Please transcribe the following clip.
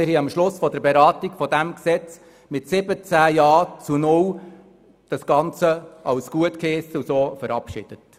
Wir haben am Schluss der Beratung dieses Gesetzes das Ganze mit 17 Jastimmen ohne Gegenstimmen gutgeheissen und so verabschiedet.